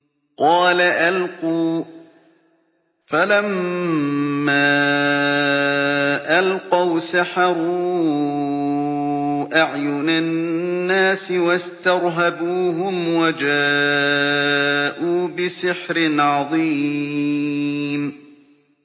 قَالَ أَلْقُوا ۖ فَلَمَّا أَلْقَوْا سَحَرُوا أَعْيُنَ النَّاسِ وَاسْتَرْهَبُوهُمْ وَجَاءُوا بِسِحْرٍ عَظِيمٍ